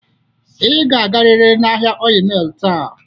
Ị ga-agarịrị n'ahịa Ọịyị Mịl taa!